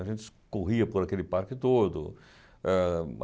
A gente corria por aquele parque todo. eh